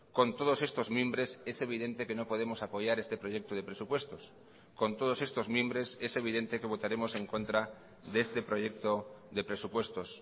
con todos estos mimbres es evidente que no podemos apoyar este proyecto de presupuestos con todos estos mimbres es evidente que votaremos en contra de este proyecto de presupuestos